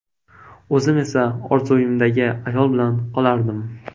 O‘zim esa orzuimdagi ayol bilan qolardim”.